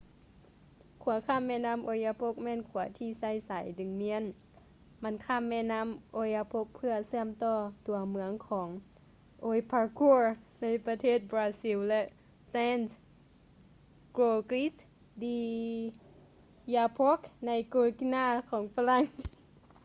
ຂົວຂ້າມແມ່ນ້ຳ oyapock ແມ່ນຂົວທີ່ໃຊ້ສາຍດຶງມ້ຽນ ມັນຂ້າມແມ່ນ້ຳ oyapock ເພື່ອເຊື່ອມຕໍ່ຕົວເມືອງຂອງ oiapoque ໃນປະເທດບຣາຊິວ ແລະ saint-georges de l'oyapock ໃນ guiana ຂອງຝຣັ່ງ